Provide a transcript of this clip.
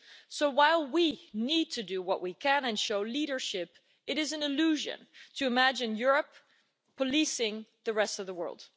So while we need to do what we can and show leadership, it is an illusion to imagine Europe policing the rest of the world.